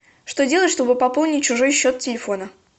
что делать чтобы пополнить чужой счет телефона